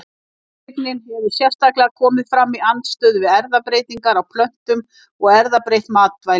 Tortryggnin hefur sérstaklega komið fram í andstöðu við erfðabreytingar á plöntum og erfðabreytt matvæli.